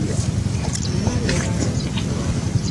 Ema Logar.